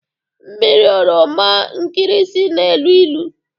Mmiri oroma nkịrịsị na-elu ilu